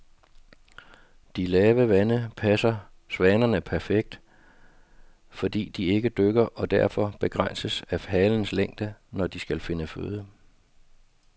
De lave vande passer svanerne perfekt, fordi de ikke dykker og derfor begrænses af halsens længde, når de skal finde føde.